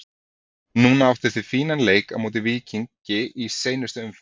Núna áttuð þið fínan leik á móti Víkingi í seinustu umferð?